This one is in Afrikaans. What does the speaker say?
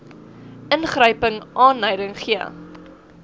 ingryping aanleiding gee